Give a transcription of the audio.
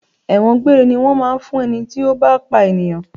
Ẹ̀wọ̀n gbére ni wọn máa ń fún ẹni tí ó bá pa ènìyàn.